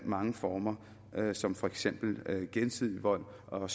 mange former som for eksempel gensidig vold og